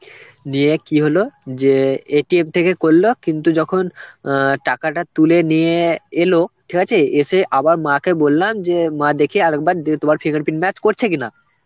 নিয়ে কি হল যে থেকে করল কিন্তু যখন অ্যাঁ টাকাটা তুলে নিয়ে এলো, ঠিক আছে, এসে আবার মাকে বললাম যে মা দেখি আর একবার যে তোমার fingerprint match করছে কিনা.